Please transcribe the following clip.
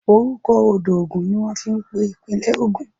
Orúkọ odò Ogun ní wọ́n fi sọ ìpínlẹ̀ Ogun.